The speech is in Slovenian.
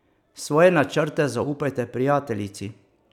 Svoje načrte zaupajte prijateljici.